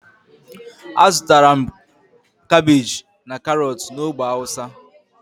azutara m kabeji and karotu na ogbe hausa.